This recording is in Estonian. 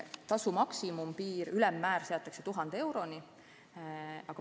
Tasu maksimumpiir, ülemmäär hakkab olema 1000 eurot.